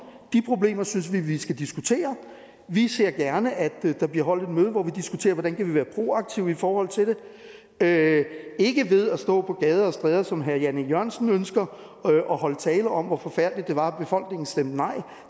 de problemer synes vi at vi skal diskutere vi ser gerne at der bliver holdt et møde hvor vi diskuterer hvordan vi kan være proaktive i forhold til det ikke ved at stå på gader og stræder som herre jan e jørgensen ønsker og holde tale om hvor forfærdeligt det var at befolkningen stemte nej